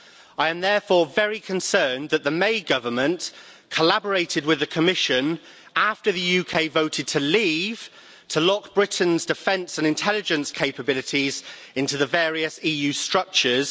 I am therefore very concerned that the May government collaborated with the Commission after the UK voted to leave to lock Britain's defence and intelligence capabilities into the various EU structures.